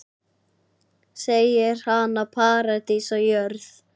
Segir hana paradís á jörð.